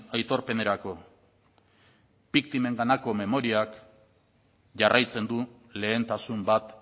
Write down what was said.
aitorpenerako biktimenganako memoriak jarraitzen du lehentasun bat